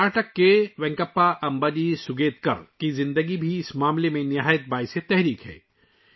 کرناٹک کے وینکپا امباجی سوگیتکر، ان کی زندگی بھی اس معاملے میں بہت متاثر کن ہے